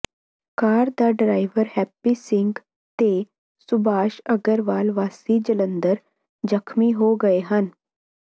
ਕਾਰ ਦਾ ਡਰਾਈਵਰ ਹੈਪੀ ਸਿੰਘ ਤੇ ਸੁਭਾਸ਼ ਅਗਰਵਾਲ ਵਾਸੀ ਜਲੰਧਰ ਜ਼ਖ਼ਮੀ ਹੋ ਗਏ ਹਨ